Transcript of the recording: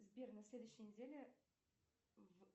сбер на следующей неделе в